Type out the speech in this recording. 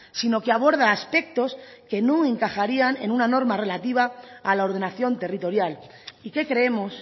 sino que aborda aspectos que no encajarían en una norma relativa a la ordenación territorial y que creemos